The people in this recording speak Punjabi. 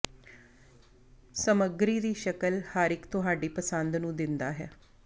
ਸਮੱਗਰੀ ਦੀ ਸ਼ਕਲ ਹਰ ਇੱਕ ਤੁਹਾਡੀ ਪਸੰਦ ਨੂੰ ਦਿੰਦਾ ਹੈ